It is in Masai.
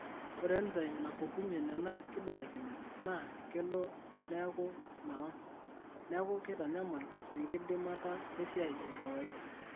Ore Enzyme napukunyie nena kibelekenyat naa kelo neeku mewang, neeku keitanyamal enkidimata esiaai e kawaida.